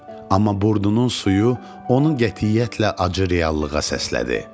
Amma Burdunun suyu onu qətiyyətlə acı reallığa səslədi.